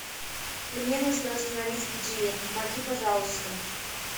мне нужно установить будильник помоги пожалуйста